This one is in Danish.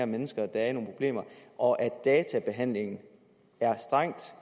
mennesker der har nogle problemer og at databehandlingen er strengt